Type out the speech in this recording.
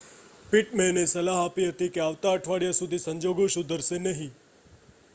પિટમેનએ સલાહ આપી હતી કે આવતા અઠવાડિયા સુધી સંજોગો સુધરશે નહીં